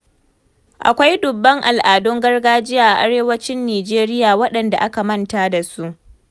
Akwai dubban al'adun gargajiya a Arewacin Nijeriya waɗanda aka manta da su.